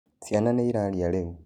Cĩĩana nĩĩrarĩa rĩũ.